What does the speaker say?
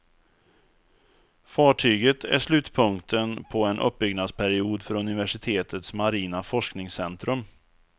Fartyget är slutpunkten på en uppbyggnadsperiod för universitetets marina forskningscentrum.